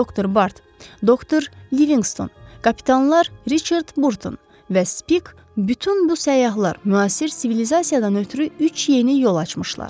Doktor Bart, Doktor Livingston, kapitanlar Riçard Burton və Spik, bütün bu səyyahlar müasir sivilizasiyadan ötrü üç yeni yol açmışlar.